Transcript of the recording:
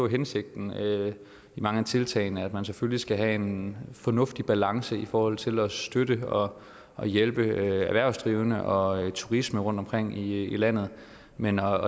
hensigten i mange af tiltagene og at man selvfølgelig skal have en fornuftig balance i forhold til at støtte og hjælpe erhvervsdrivende og turisme rundtomkring i landet men at